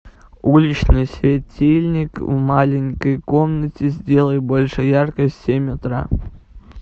уличный светильник в маленькой комнате сделай больше яркость в семь утра